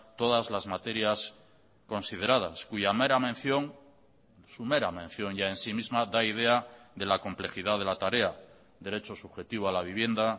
todas las materias consideradas cuya mera mención su mera mención ya en sí misma da idea de la complejidad de la tarea derecho subjetivo a la vivienda